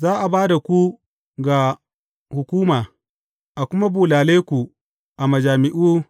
Za a ba da ku ga hukuma, a kuma bulale ku a majami’u.